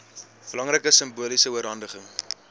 belangrike simboliese oorhandiging